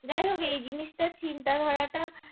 যাই হোক এই জিনিসটার চিন্তাধারাটা